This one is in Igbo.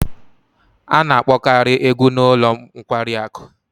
A na-akpokari egwu n'ulo nkwari aku